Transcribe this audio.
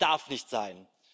Das darf nicht sein!